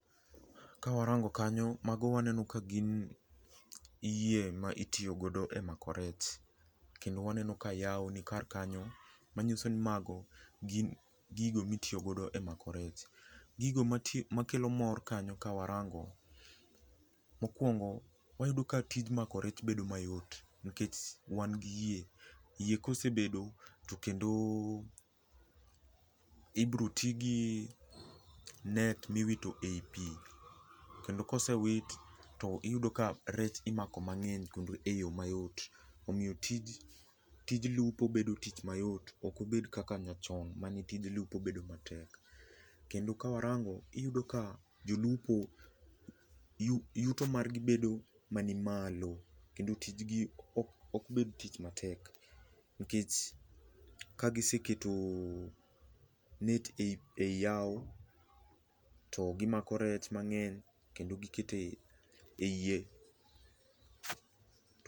Ka warango kanyo, mago waneno ka gin yie ma itiyo godo e mako rech. Kendo waneno ka yawo ni kar kanyo, manyiso ni mago gin gigo mitiyo godo e mako rech. Gigo makelo mor kanyo ka warang'o, mokwongo wayudo ka tij mako rech bedo mayot nikech wan gi yie. Yie kosebedo to kendo ibiro ti gi net miwito ei pi. Kendo kosewit, to iyudo ka rech imako mang'eny kendo e yo mayot. Omiyo tij lupo bedo tich mayot. Ok obed kaka ne chon ,mane tij lupo bedo matek. Kendo ka warango, iyudo ka jolupo yuto margi bedo manimalo. Kendo tijgi ok bed tich matek, nikech ka giseketo net ei yawo, to gimako rech mang'eny kendo giketo ei yie.